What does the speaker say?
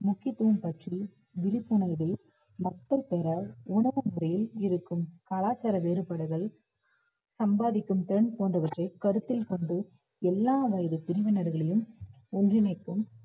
முக்கியத்துவம் பற்றி விழிப்புணர்வை மக்கள் பெற உணவு முறையில் இருக்கும் கலாச்சார வேறுபாடுகள் சம்பாதிக்கும் திறன் போன்றவற்றை கருத்தில் கொண்டு எல்லா வயது பிரிவினர்களையும் ஒன்றிணைப்போம்